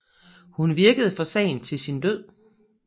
Hun virkede for sagen til sin død